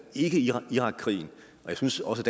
ikke irakkrigen jeg synes også